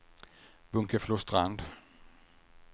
Bunkeflostrand